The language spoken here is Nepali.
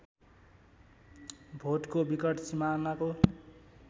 भोटको विकट सिमानाको